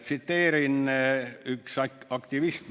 Tsiteerin ühte aktivisti.